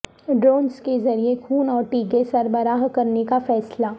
drones کے ذریعہ خون اور ٹیکے سربراہ کرنے کا فیصلہ